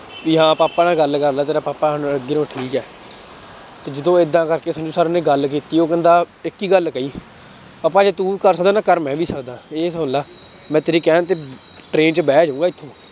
ਵੀ ਹਾਂ ਪਾਪਾ ਨਾਲ ਗੱਲ ਕਰ ਲਾ ਤੇਰਾ ਪਾਪਾ ਹੁਣ ਅੱਗੇ ਨਾਲੋਂ ਠੀਕ ਹੈ ਤੇ ਜਦੋਂ ਏਦਾਂ ਕਰਕੇ ਸੰਜੂ ਸਰ ਨੇ ਗੱਲ ਕੀਤੀ ਉਹ ਕਹਿੰਦਾ ਇੱਕ ਹੀ ਗੱਲ ਕਹੀ ਪਾਪਾ ਜੇ ਤੂੰ ਕਰ ਸਕਦਾ ਤਾਂ ਕਰ ਮੈਂ ਵੀ ਸਕਦਾਂ, ਇਹ ਸੁਣ ਲਾ ਮੈਂ ਤੇਰੇ ਕਹਿਣ ਤੇ train ਚ ਬਹਿ ਜਾਊਂਗਾ ਇੱਥੋਂ